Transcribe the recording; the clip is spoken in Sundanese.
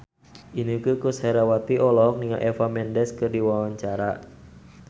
Inneke Koesherawati olohok ningali Eva Mendes keur diwawancara